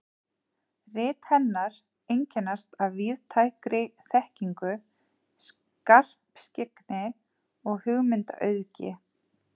Rit hennar einkennast af víðtækri þekkingu, skarpskyggni og hugmyndaauðgi.